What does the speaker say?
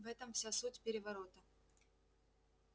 в этом вся суть переворота